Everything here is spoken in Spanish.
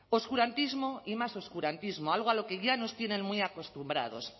oscurantismo y más oscurantismo algo a lo que ya nos tienen muy acostumbrados